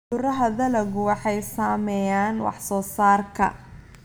Cudurada dalaggu waxay saameeyaan wax soo saarka.